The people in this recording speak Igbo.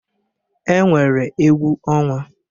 E nwere egwu ọnwa.